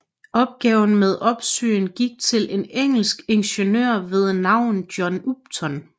Opgaven med opsyn gik til en engelsk ingeniør ved navn John Upton